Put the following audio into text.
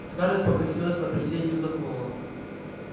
скарлетт покосилась на присей и вздохнула